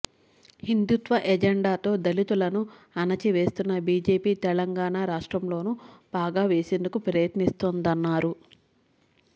హిందూత్వ ఎజెండాతో దళితులను అణిచివేస్తున్న బీజేపీ తెలం గాణ రాష్ట్రంలోనూ పాగ వేసేందకు ప్రయత్నిస్తోం దన్నారు